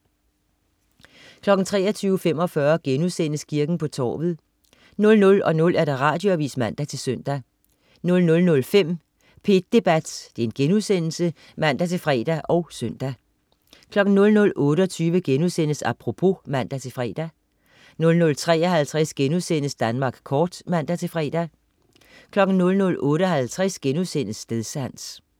23.45 Kirken på torvet* 00.00 Radioavis (man-søn) 00.05 P1 Debat* (man-fre og søn) 00.28 Apropos* (man-fre) 00.53 Danmark kort* (man-fre) 00.58 Stedsans*